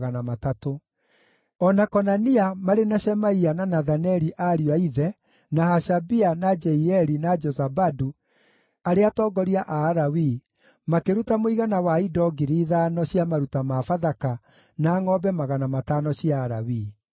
O na Konania, marĩ na Shemaia na Nathaneli ariũ a ithe, na Hashabia, na Jeieli, na Jozabadu, arĩa atongoria a Alawii, makĩruta mũigana wa indo 5,000 cia maruta ma Bathaka, na ngʼombe 500 cia Alawii.